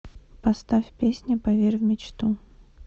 поставь песня поверь в мечту